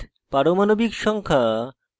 পারমাণবিক সংখ্যা